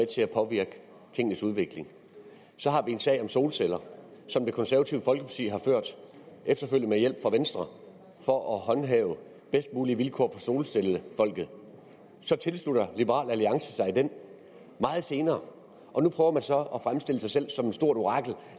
til at påvirke tingenes udvikling så har vi en sag om solceller som det konservative folkeparti har ført efterfølgende med hjælp fra venstre for at håndhæve bedst mulige vilkår solcellefolket så tilslutter liberal alliance sig dette meget senere og nu prøver man så at fremstille sig selv som et stort orakel